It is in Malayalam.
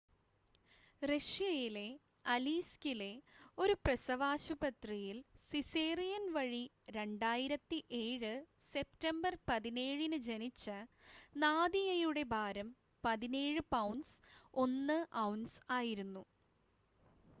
റഷ്യയിലെ അലീസ്‌കിലെ ഒരു പ്രസവാശുപത്രിയിൽ സിസേറിയൻ വഴി 2007 സെപ്റ്റംബർ 17-ന് ജനിച്ച നാദിയയുടെ ഭാരം 17 പൗണ്ട്സ് 1 ഔൺസ് ആയിരുന്നു